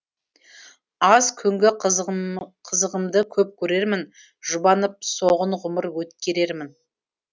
аз күнгі қызығымды көп көрермін жұбанып соғын ғұмыр өткерермін